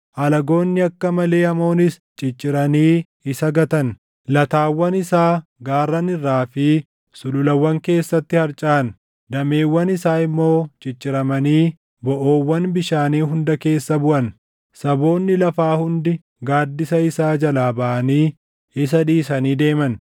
alagoonni akka malee hamoonis cicciranii isa gatan. Lataawwan isaa gaarran irraa fi sululawwan keessatti harcaʼa; dameewwan isaa immoo cicciramanii boʼoowwan bishaanii hunda keessa buʼan. Saboonni lafaa hundi gaaddisa isaa jalaa baʼanii isa dhiisanii deeman.